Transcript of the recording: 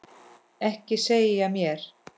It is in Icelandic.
Ekki segja mér